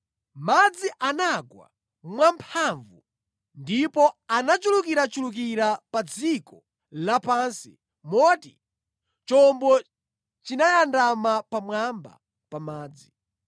Madzi anafika mwamphamvu ndipo anachulukirachulukira pa dziko lapansi moti chombo chinayandama pamwamba pa madziwo.